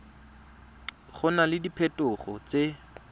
go na le diphetogo tse